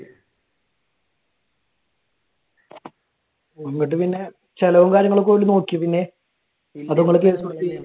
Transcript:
എന്നിട്ട് പിന്നെ ചിലവും കാര്യങ്ങളുമൊക്കെ ഓര് നോക്കിയാ പിന്നെ? അതോ നിങ്ങൾ case കൊടുത്ത?